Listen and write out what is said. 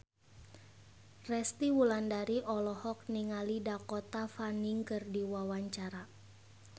Resty Wulandari olohok ningali Dakota Fanning keur diwawancara